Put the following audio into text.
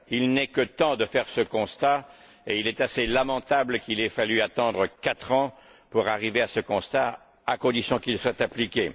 Il n'est que temps de faire ce constat et il est lamentable qu'il ait fallu attendre quatre ans pour arriver à ce constat, à condition qu'il soit appliqué.